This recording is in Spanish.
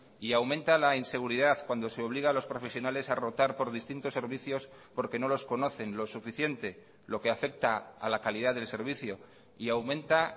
y aumenta la inseguridad cuando se obliga a los profesionales a rotar por distintos servicios porque no los conocen lo suficiente lo que afecta a la calidad del servicio y aumenta